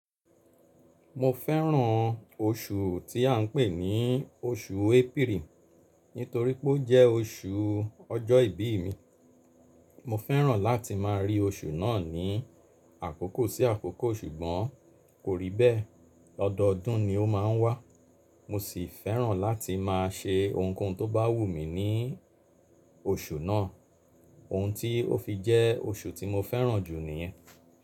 Mo fẹ́ràn oṣù tí à ń pè ní oṣù April, nítorí pé ó jẹ́ oṣù ọjọ́ ìbí mi. Mo fẹ́ràn láti má a rí oṣù náà ní àkókò sí àkókò ṣùgbọ́n kò rí bẹ́ẹ̀. Ọdọọdún ni ó má a ń wá. Mo sì fẹ́ràn láti máa ṣe ohunkóhun tó bá wù mí ní oṣù náà, ohun tí ó fi jẹ́ oṣù tí mo fẹ́ràn jù níyẹn.